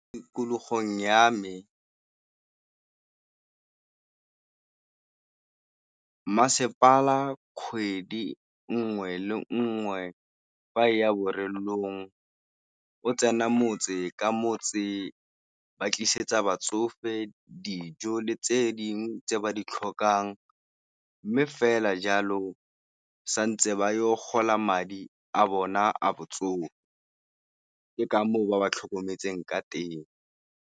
Tikologong ya me masepala kgwedi nngwe le nngwe fa e ya o tsena motse ka motse ba tlisetsa batsofe dijo le tse dingwe tse ba di tlhokang, mme fela jalo santse ba yo gola madi a bona a botsogo ke ka moo ba ba tlhokometseng ka teng.